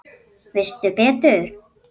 Veistu betur?